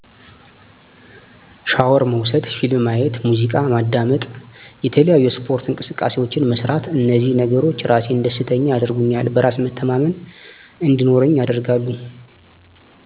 ሻወር መውሰድ ፊልም ማየት ሙዚቃ ማዳመጥ የተለያዪ የስፓርት እንቅስቃሴዎችን መስራት እንዚህ ነገሮች ራሴን ደስተኛ ያደርጉኛል በራስ መተማመን እንዲኖረኝ ያደርጋል